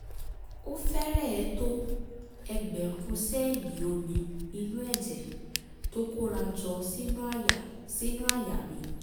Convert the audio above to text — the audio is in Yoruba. ó fẹ́rẹ̀ẹ́ tó ẹgbẹ̀rún sẹ́ẹ̀lì omi inú ẹ̀jẹ̀ tó kóra jọ sínú àyà sínú àyà mi